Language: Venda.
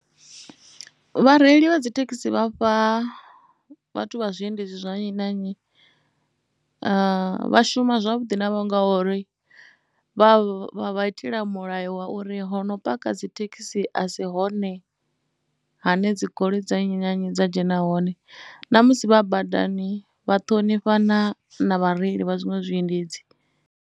Vhareili vha dzithekhisi vha fha vhathu vha zwiendedzi zwa nnyi na nnyi vha shuma zwavhuḓi navho ngori vha vha itela mulayo wa uri ho no paka dzithekhisi a si hone ha ne dzi goloi dza nnyi na nnyi dza dzhena hone. Namusi vha badani vha ṱhonifhana na vhareili vha zwiṅwe zwiendedzi.